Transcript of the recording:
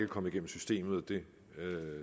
kommet igennem systemet og det